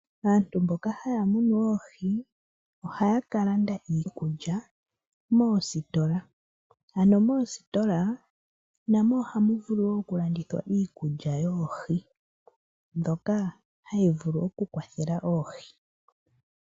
Aantu mboka hayamunu oohi, ohayakalanda iikulya moositola. Ano moositolaa namo ohamuvulu woo okulandithwa iikulya yoohi. Dhokaa hayivulu okukwathela oohi.